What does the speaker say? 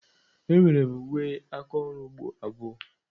Enwere m uwe aka ọrụ ugbo abụọ.